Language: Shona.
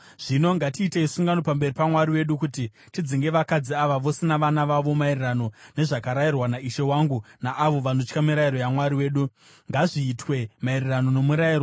Zvino ngatiitei sungano pamberi paMwari wedu kuti tidzinge vakadzi ava vose navana vavo, maererano nezvakarayirwa naishe wangu naavo vanotya mirayiro yaMwari wedu. Ngazviitwe maererano nomurayiro.